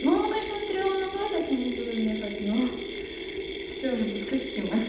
ну оно конечно стремновато самой потом ехать но всё же до скольки мы